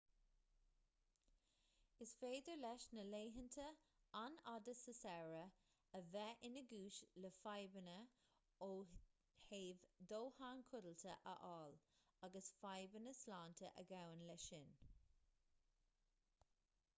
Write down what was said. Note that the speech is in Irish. is féidir leis na laethanta an-fhada sa samhradh a bheith ina gcúis le fadhbanna ó thaobh dóthain codlata a fháil agus fadbhanna sláinte a ghabhann leis sin